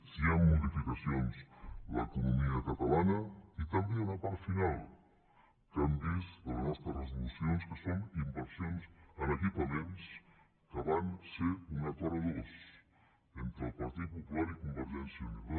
si hi han modificacions en l’economia catalana i també hi ha una part final que han vist de les nostres resolucions que són inversions en equipaments que van ser un acord a dos entre el partit popular i convergència i unió